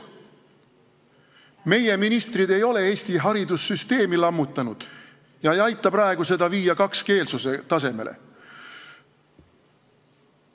Meie ministrid ei ole Eesti haridussüsteemi lammutanud ega aita praegu seda kakskeelsuse tasemele viia.